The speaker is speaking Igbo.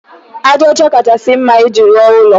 Aja ọcha kachasị mma iji rụọ ụlọ.